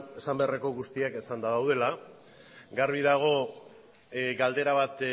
esan beharreko guztiak esanda daudela garbi dago galdera bat